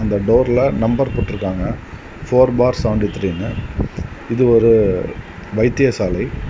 இந்த டோர்ல நம்பர் போட்டிருக்காங்க ஃபோர் பார் செவண்டி த்ரீன்னு இது ஒரு வைத்தியசாலை.